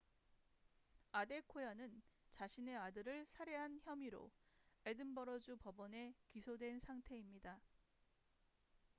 아데코야는 자신의 아들을 살해한 혐의로 에든버러주 법원에 기소된 상태입니다